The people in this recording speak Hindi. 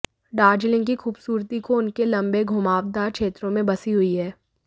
दार्जिलिंग की खूबसूरती को उसके लंबे घुमावदार क्षेत्रों में बसी हुई है